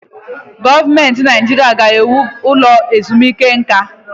Gọọmenti Naijiria a ga-ewu ụlọ ezumike nka?